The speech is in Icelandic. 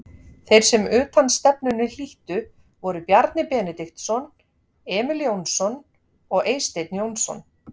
Þeir sem utanstefnunni hlíttu voru Bjarni Benediktsson, Emil Jónsson og Eysteinn Jónsson.